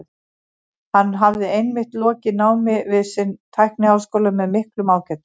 Hann hafði einmitt lokið námi við sinn tækniháskóla með miklum ágætum.